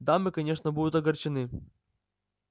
дамы конечно будут огорчены